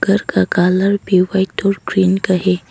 घर का कलर भी व्हाइट और ग्रीन का है।